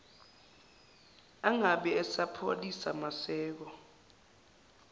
angabe esapholisa maseko